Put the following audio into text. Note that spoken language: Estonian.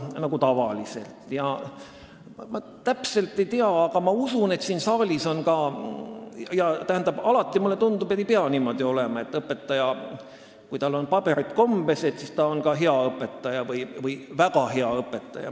Mulle tundub, et alati ei pea niimoodi olema, et kui õpetajal on paberid kombes, siis on ta hea või väga hea õpetaja.